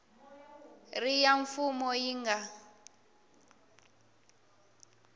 ri ya mfumo yi nga